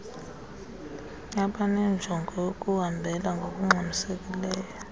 abanenjongo yokuhambela ngokungxamisekileyo